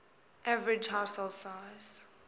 average household size